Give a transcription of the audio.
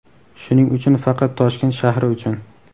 Shuning uchun faqat Toshkent shahri uchun.